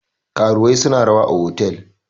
karuwai suna rawa a otal